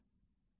Balıq.